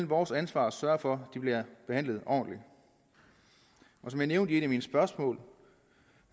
vores ansvar at sørge for de bliver behandlet ordentligt som jeg nævnte i et af mine spørgsmål